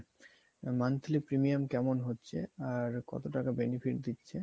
monthly premium কেমন হচ্ছে আর কত টাকা benefit দিচ্ছে